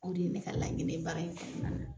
O de ye ne ka laɲini ye baara in kɔnɔna la.